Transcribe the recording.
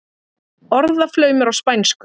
Orðaflaumur á spænsku.